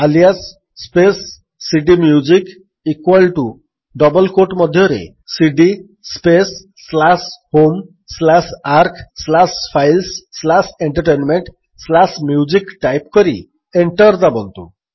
alias space cdmusic equal to double quotes ମଧ୍ୟରେ cd space slash home slash arc slash files slash entertainment slash music type କରି enter ଦାବନ୍ତୁ